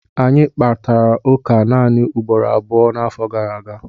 Anyị kparịtara ụka naanị ugboro abụọ n'afọ gara aga